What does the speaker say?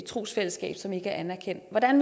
trosfællesskab som ikke er anerkendt hvordan